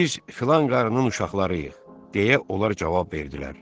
Biz filan qarının uşaqlarıyıq, deyə onlar cavab verdilər.